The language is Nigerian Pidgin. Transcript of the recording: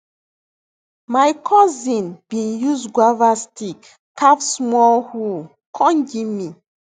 my cousin bin use guava stick carve small hoe con give me